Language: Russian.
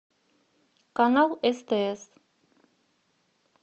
канал стс